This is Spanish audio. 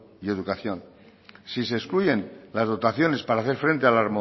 y educación si se excluyen las dotaciones para hacer frente a la